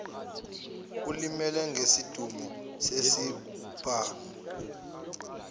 olimele ngesidunu sesibhamu